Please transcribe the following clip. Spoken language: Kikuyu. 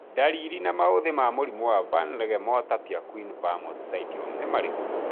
Ndariri na maũthĩ ma mũrimũ wa Van Regemorter Pierquin Vamos syndrome nĩ marĩkũ?